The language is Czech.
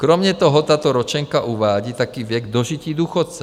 Kromě toho tato ročenka uvádí taky věk dožití důchodce.